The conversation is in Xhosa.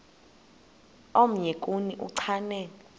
omnye kuni uchane